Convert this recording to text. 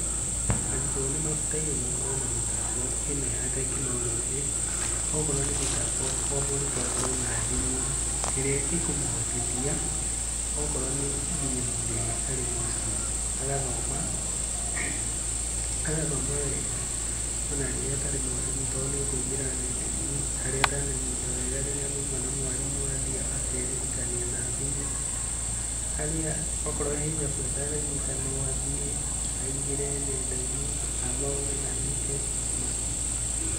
Arutwo nĩmabataire makorwo na mĩtambo ĩno ya tekinoronjĩ, okorwo nĩ mĩtambo omũrutwo akorwo na thimũ ĩrĩa ĩkũmũhotithia okorwo nginya nĩ nginya hĩndĩ ĩria arĩ mũciĩ agathoma, agathoma wega ona rĩrĩa atarĩ mwarimũ tondũ nekwingĩra ndenainĩ harĩa atenanyita wega rĩrĩa maũma na mwarimũ athiĩ akeririkania na thimũ, harĩa akorwo kwĩ ĩthabu atananyita no athiĩ aingĩre nendainĩ athome na anyite makĩrĩa.